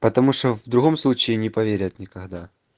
потому что в другом случае не поверят никогда